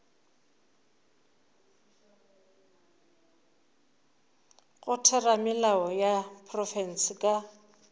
go theramelao ya profense ka